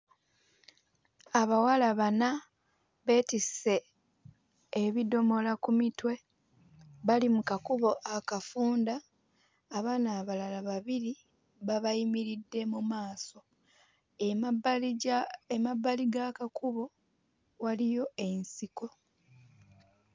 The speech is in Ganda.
Abawala bana beetisse ebidomola ku mitwe bali mu kakubo akafunda. Abaana abalala babiri babayimiridde mu maaso. Emabbali gya emabbali g'akakubo waliyo ensiko.